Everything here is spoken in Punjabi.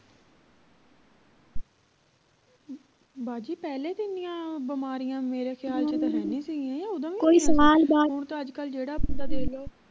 ਬਾਜੀ ਪਹਿਲੇ ਤਾਂ ਇੰਨੀਆਂ ਬਿਮਾਰੀਆਂ ਮੇਰੇ ਖਿਆਲ ਚ ਤਾਂ ਹੈ ਨਹੀਂ ਸੀ ਗਿਆਂ ਹੁਣ ਤਾਂ ਅੱਜਕਲ ਜਿਹੜਾ ਬੰਦਾ ਦੇਖ ਲਉ